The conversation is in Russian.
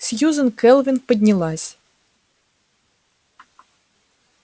сьюзен кэлвин поднялась